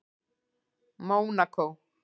Mónakó